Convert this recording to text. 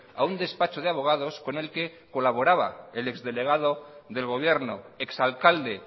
a un despacho de abogados con el que colaboraba el ex delegado del gobierno ex alcalde